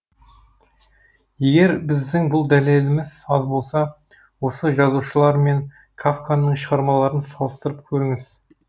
егер біздің бұл дәлелеліміз аз болса осы жазушылар мен кафканың шығармаларын салыстырып көріңіз